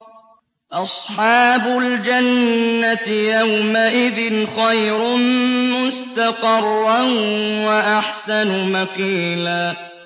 أَصْحَابُ الْجَنَّةِ يَوْمَئِذٍ خَيْرٌ مُّسْتَقَرًّا وَأَحْسَنُ مَقِيلًا